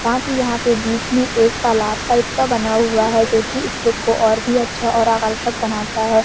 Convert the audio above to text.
साथ ही यहां पे बीच में एक तालाब टाइप का बना हुआ है जोकि इस लुक को और भी अच्छा और आकर्षक बनाता है।